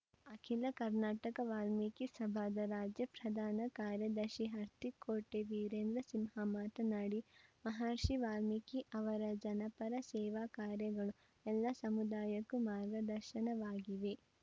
ಅಖಿಲ ಕರ್ನಾಟಕ ವಾಲ್ಮೀಕಿ ಸಭಾದ ರಾಜ್ಯ ಪ್ರಧಾನ ಕಾರ್ಯದರ್ಶಿ ಹರ್ತಿಕೋಟೆ ವೀರೇಂದ್ರಸಿಂಹ ಮಾತನಾಡಿ ಮಹರ್ಷಿ ವಾಲ್ಮೀಕಿ ಅವರ ಜನಪರ ಸೇವಾ ಕಾರ್ಯಗಳು ಎಲ್ಲ ಸಮುದಾಯಕ್ಕೂ ಮಾರ್ಗದರ್ಶನವಾಗಿವೆ